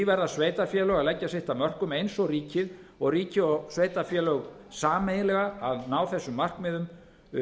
verða sveitarfélög að leggja sitt af mörkum eins og ríkið og ríki og sveitarfélög sameiginlega að ná þessum markmiðum